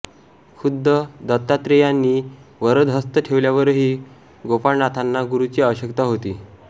खुद्द दत्तात्रेयांनी वरदहस्त ठेवल्यावरही गोपाळनाथांना गुरूची आवश्यकता होती